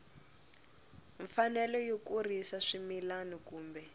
mfanelo yo kurisa swimila kumbe